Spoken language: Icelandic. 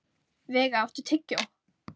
Veiga, áttu tyggjó?